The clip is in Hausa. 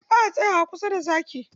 Ba a tsayawa kusa da zaki.